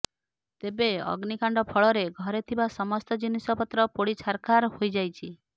ତେବେ ଅଗ୍ନୀକାଣ୍ଡ ଫଳରେ ଘରେ ଥିବା ସମସ୍ତ ଜିନିଷପତ୍ର ପୋଡି ଛାରଖାର ହୋଇଯାଇଛି